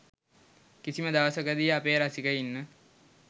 කිසිම දවසකදී අපේ රසිකයින්ව